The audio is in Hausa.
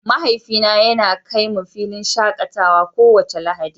mahaifi na yana kai mu filin shakatawa kowace Lahadi.